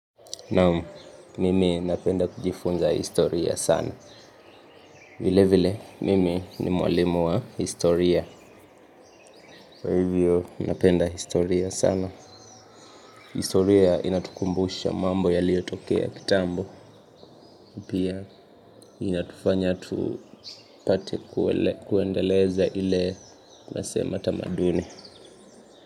Naam, mimi napenda kujifunza historia sana. Vilevile mimi ni mwalimu wa historia. Kwa hivyo napenda historia sana. Historia inatukumbusha mambo yaliyotokea kitambo. Pia inatufanya tupate kuendeleza ile nasema tamaduni.